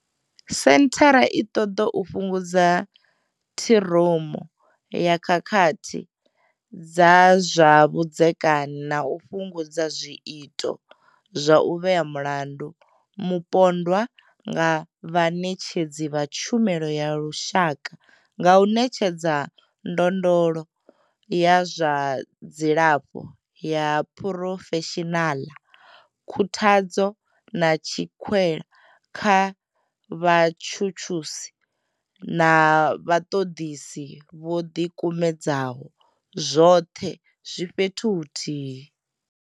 Senthara i ṱoḓa u fhungudza ṱhiromo ya khakhathi dza zwa vhudzekani na u fhungudza zwiito zwa u vhea mulandu mupondwa nga vhaṋetshedzi vha tshumelo ya lushaka nga u ṋetshedza ndondolo ya zwa dzilafho ya phurofeshinaḽa, khuthadzo, na tswikelo kha vhatshutshisi na vhaṱoḓisi vho ḓi kumedzaho, zwoṱhe zwi fhethu huthihi.